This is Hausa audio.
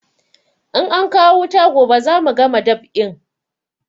In ankawo wuta gobe za mu gama dab'in